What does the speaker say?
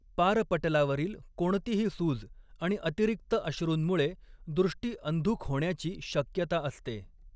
पारपटलावरील कोणतीही सूज आणि अतिरिक्त अश्रूंमुळे दृष्टी अंधुक होण्याची शक्यता असते.